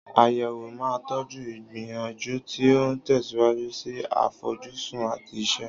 Àyẹ̀wò máa ń tọ́jú ìgbìyànjú tí ó ń tẹ̀síwájú sí àfojúsùn àti iṣẹ́.